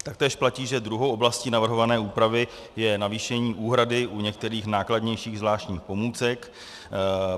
Taktéž platí, že druhou oblastí navrhované úpravy je navýšení úhrady u některých nákladnějších zvláštních pomůcek.